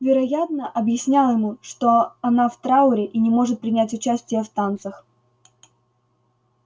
вероятно объяснял ему что она в трауре и не может принять участия в танцах